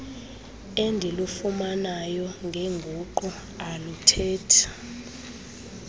endilufumanayo ngenguqu aluthethi